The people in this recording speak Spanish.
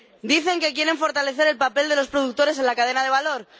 Dicen que quieren fortalecer el papel de los productores en la cadena de valor.